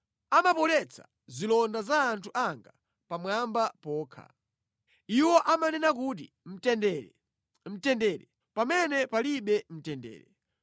Amapoletsa zilonda za anthu anga pamwamba pokha. Iwo amanena kuti, ‘Mtendere, mtendere,’ pamene palibe mtendere.